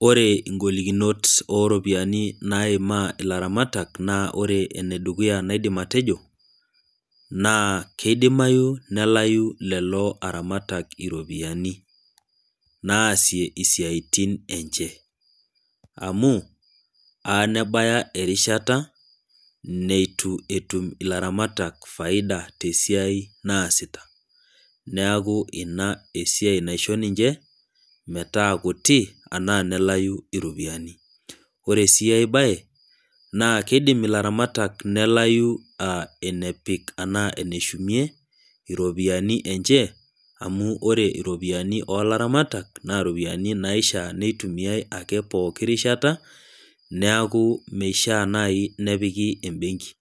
Ore ingolikinot naimaa ilaramatak naa ore enedukuya naaidim atejo, kelo nalau lelo aramatak iropiyiani naasie siatin enche. amu eta nabaiki erishat neitu etum ilaramatak faida tesiai naasita ,neeku ina esiai naisho ninche metaa kuti enaa nelau ropiyiani ,ore enkae bae kelo nelau ilaramatak eneshumei iropiyiani encheamu ore iropiyiani oolaramatak naa iropiyiani naishaa neitumiyae ake poki kata neeku meishaa naji nepikita embenki,